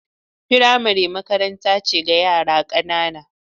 Firamare makaranta ce ga yara ƙanana.